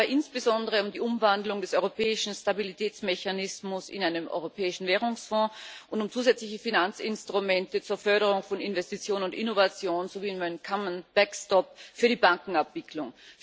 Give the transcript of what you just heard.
Es geht dabei insbesondere um die Umwandlung des Europäischen Stabilitätsmechanismus in einen Europäischen Währungsfonds und um zusätzliche Finanzinstrumente zur Förderung von Investition und Innovation sowie um einen für die Bankenabwicklung.